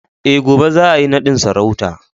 Eh, gobe za a yi nadin sarauta